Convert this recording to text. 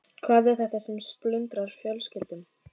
Hvað er þetta sem splundrar fjölskyldum?